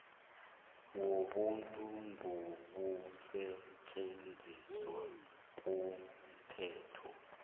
wobuntu ngokusetjenziswa komthetho